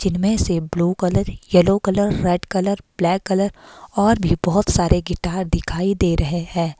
जिनमें से blue colour yellow colour red colour black colour और भी बहोत सारे गिटार दिखाई दे रहे हैं।